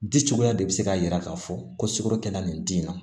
Di cogoya de bɛ se k'a jira k'a fɔ ko sukoro kɛnɛya nin di yan